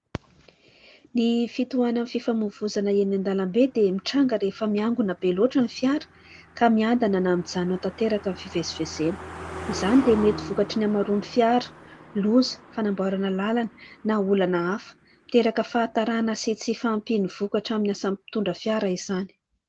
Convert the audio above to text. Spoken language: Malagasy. Ny fitohanan'ny fifamoivoizana eny an-dalambe dia mitranga rehefa miangona be loatra ny fiara ka miadana na mijanona tanteraka amin'ny fivezivezena. Izany dia mety vokatry ny hamaroan'ny fiara, loza, fanamboarana lalana na olana hafa ; miteraka fahatarana sy tsy fahampiany vokatra amin'ny asa mpitondra fiara izany.